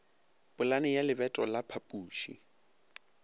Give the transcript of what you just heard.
polane ya lebato la phapuši